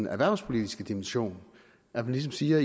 erhvervspolitiske dimension at man ligesom siger